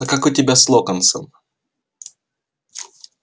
а как у тебя с локонсом